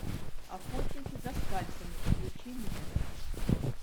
охотники за скальпами включи мне